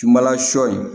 Sumanla sɔ in